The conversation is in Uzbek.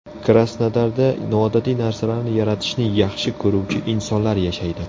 Krasnodarda noodatiy narsalarni yaratishni yaxshi ko‘ruvchi insonlar yashaydi.